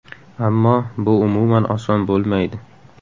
Ammo bu umuman oson bo‘lmaydi.